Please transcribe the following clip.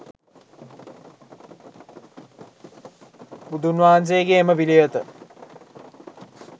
බුදුන්වහන්සේගේ එම පිළිවෙත